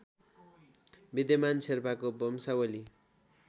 विद्यमान शेर्पाको वंशावली